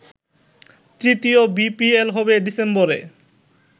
তৃতীয় বিপিএল হবে ডিসেম্বরে।